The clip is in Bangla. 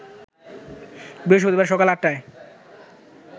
বৃহস্পতিবার সকাল ৮টায়